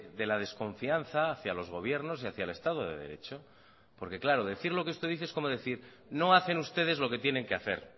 de la desconfianza hacia los gobiernos y hacia el estado de derecho porque claro decir lo que usted dice es como decir no hacen ustedes lo que tienen que hacer